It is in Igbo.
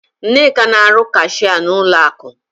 Nneka na-arụ kashịa n'ụlọ akụ.